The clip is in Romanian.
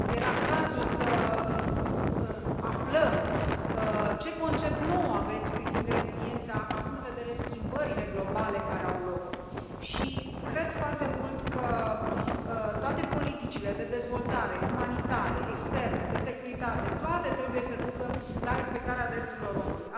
Era cazul să aflăm ce concept nou aveți privind reziliența, având în vedere schimbările globale care au loc și cred foarte mult că toate politicile de dezvoltare, umanitare, externe, de securitate, toate trebuie să ducă la respectarea drepturilor omului.